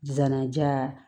Zana ja